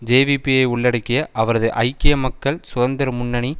ஜேவிபியை உள்ளடக்கிய அவரது ஐக்கிய மக்கள் சுதந்திர முன்னணி